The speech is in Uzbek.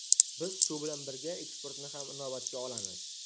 Biz shu bilan birga eksportni ham inobatga olamiz.